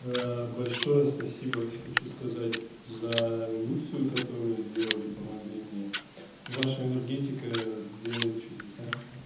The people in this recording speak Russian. большое спасибо хочу сказать за индукцию которую сделали помогли мне ваша энергетика делает чудеса